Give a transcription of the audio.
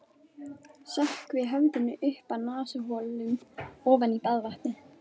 Sökkvi höfðinu upp að nasaholum ofan í baðvatnið.